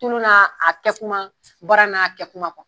Tulon n'a kɛkuma baara n'a kɛkuma .